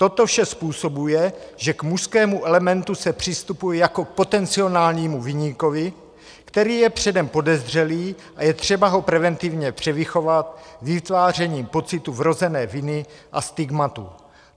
Toto vše způsobuje, že k mužskému elementu se přistupuje jako k potenciálnímu viníkovi, který je předem podezřelý a je třeba ho preventivně převychovat vytvářením pocitu vrozené viny a stigmatu.